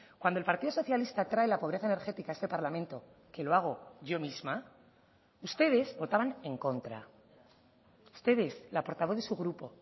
cuando el partido socialista trae la pobreza energética a este parlamento que lo hago yo misma ustedes votaban en contra ustedes la portavoz de su grupo